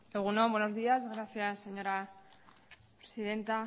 egun on buenos días gracias señora presidenta